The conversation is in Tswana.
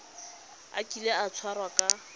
a kile a tshwarwa ka